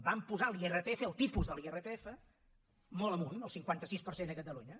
van posar l’irpf el tipus de l’irpf molt amunt al cinquanta sis per cent a catalunya